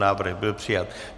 Návrh byl přijat.